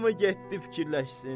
Hamı getdi fikirləşsin.